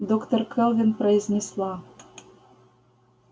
доктор кэлвин произнесла